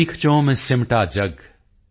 ਸੀਖਚੋਂ ਮੇਂ ਸਿਮਟਾ ਜਗ